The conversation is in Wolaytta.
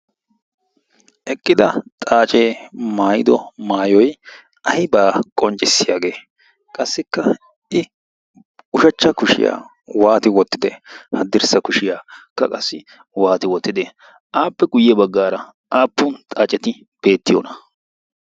eqqida xaacee maayido maayoi aibaa qonccissiyaagee qassikka i ushachcha kushiyaa waati wottide haddirssa kushiyaakka qassi waati wottite aappe guyye baggaara aappun xaaceti beettiyoona?